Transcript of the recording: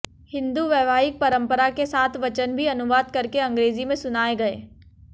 हिंदू वैवाहिक परंपरा के सात वचन भी अनुवाद करके अंग्रेजी में सुनाए गए